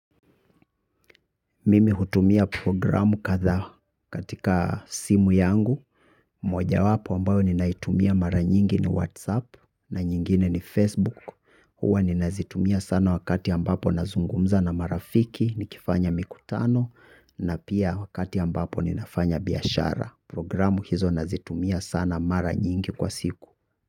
Mimi hutumia programu kadhaa katika simu yangu. Mojawapo ambayo ninaitumia mara nyingi ni Whatsapp na nyingine ni Facebook. Huwa ninazitumia sana wakati ambapo nazungumza na marafiki nikifanya mikutano. Na pia wakati ambapo ninafanya biashara programu hizo nazitumia sana mara nyingi kwa siku.